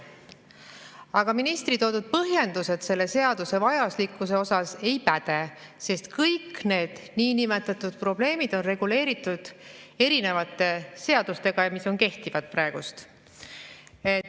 Aga ministri toodud põhjendused selle seaduse vajalikkuse kohta ei päde, sest kõik need niinimetatud probleemid on reguleeritud erinevate seadustega, mis on praegu kehtivad.